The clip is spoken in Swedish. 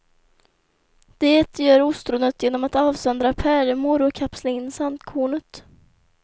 Det gör ostronet genom att avsöndra pärlemor och kapsla in sandkornet.